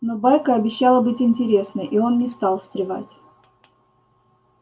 но байка обещала быть интересной и он не стал встревать